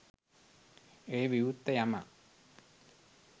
එය විවෘත යමක්,